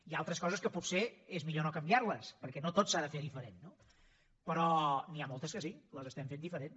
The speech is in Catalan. hi ha altres coses que potser és millor no canviar les perquè no tot s’ha de fer diferent però n’hi ha moltes que sí les estem fent diferent